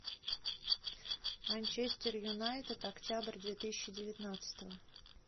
манчестер юнайтед октябрь две тысячи девятнадцатого